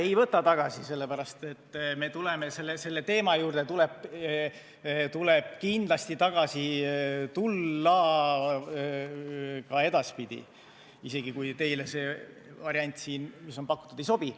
Ei võta tagasi, sest selle teema juurde tuleb kindlasti tagasi tulla ka edaspidi, isegi kui teile see variant, mis on pakutud, ei sobi.